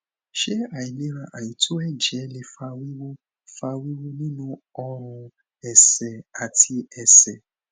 ṣé àìlera àìto ẹjẹ lè fa wiwu fa wiwu nínú orun ẹsẹ àti ẹsẹ